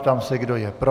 Ptám se, kdo je pro.